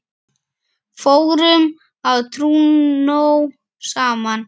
Fórum á trúnó saman.